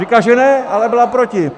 Říká, že ne, ale byla proti!